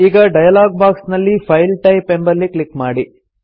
ಈಗ dialog box ನಲ್ಲಿ file type ಎಂಬಲ್ಲಿ ಕ್ಲಿಕ್ ಮಾಡಿ